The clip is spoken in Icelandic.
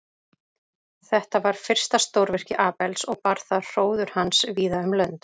Þetta var fyrsta stórvirki Abels og bar það hróður hans víða um lönd.